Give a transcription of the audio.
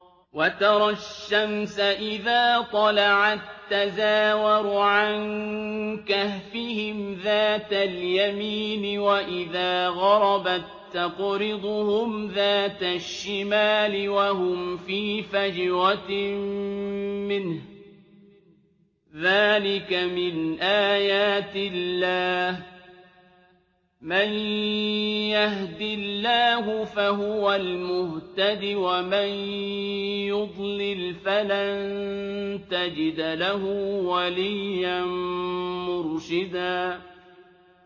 ۞ وَتَرَى الشَّمْسَ إِذَا طَلَعَت تَّزَاوَرُ عَن كَهْفِهِمْ ذَاتَ الْيَمِينِ وَإِذَا غَرَبَت تَّقْرِضُهُمْ ذَاتَ الشِّمَالِ وَهُمْ فِي فَجْوَةٍ مِّنْهُ ۚ ذَٰلِكَ مِنْ آيَاتِ اللَّهِ ۗ مَن يَهْدِ اللَّهُ فَهُوَ الْمُهْتَدِ ۖ وَمَن يُضْلِلْ فَلَن تَجِدَ لَهُ وَلِيًّا مُّرْشِدًا